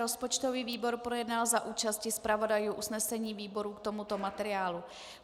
Rozpočtový výbor projednal za účasti zpravodajů usnesení výborů k tomuto materiálu.